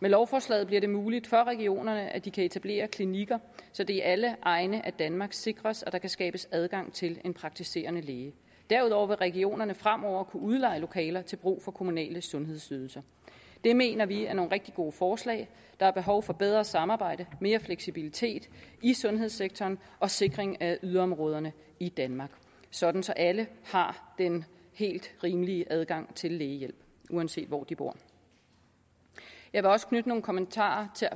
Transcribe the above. med lovforslaget bliver det muligt for regionerne at de kan etablere klinikker så det i alle egne af danmark sikres at der kan skabes adgang til en praktiserende læge derudover vil regionerne fremover kunne udleje lokaler til brug for kommunale sundhedsydelser det mener vi er nogle rigtig gode forslag der er behov for bedre samarbejde mere fleksibilitet i sundhedssektoren og sikring af yderområderne i danmark sådan så alle har den helt rimelige adgang til lægehjælp uanset hvor de bor jeg vil også knytte nogle kommentarer til